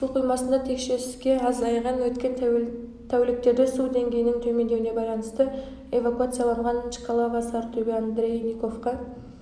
су қоймасында текше с-ке азайған өткен тәуліктерде су деңгейінің төмендеуіне байланысты эвакуацияланған чкалово сарытөбе андрейниковка